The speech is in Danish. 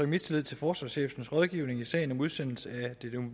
mistillid til forsvarschefens rådgivning i sagen om udsendelse af det